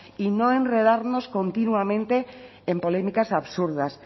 y no enredarnos continuamente en polémicas absurdas